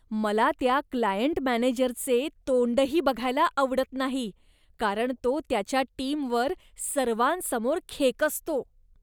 मला त्या क्लायंट मॅनेजरचे तोंडही बघायला आवडत नाही कारण तो त्याच्या टीमवर सर्वांसमोर खेकसतो.